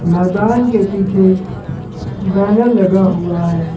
मैदान के पीछे बैनर लगा हुआ है।